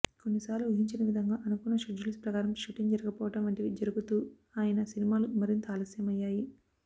కొన్ని సార్లు ఊహించని విధంగా అనుకున్న షెడ్యూల్స్ ప్రకారం షూటింగ్ జరగపోవడం వంటివి జరుగుతూ ఆయన సినిమాలు మరింత ఆలస్యమయ్యాయి